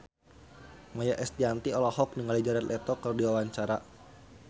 Maia Estianty olohok ningali Jared Leto keur diwawancara